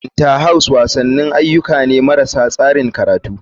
Inter house wasanni ayyuka ne marasa tsarin karatu.